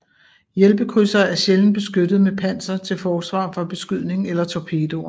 Hjælpekrydsere er sjældent beskyttet med panser til forsvar for beskydning eller torpedoer